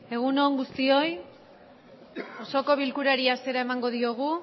egun on guztioi osoko bilkurari hasiera emango diogu